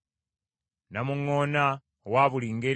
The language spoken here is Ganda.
namuŋŋoona owa buli ngeri;